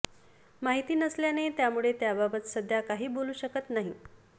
माहिती नसल्याने त्यामुळे त्याबाबत सध्या काही बोलू शकत नाही